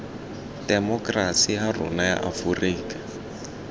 temokerasi ya rona ya aforika